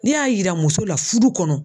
N'e y'a yira muso la fudu kɔnɔ